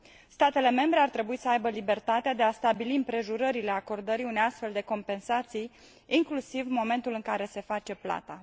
Statele membre ar trebui să aibă libertatea de a stabili împrejurările acordării unei astfel de compensații, inclusiv momentul în care se face plata.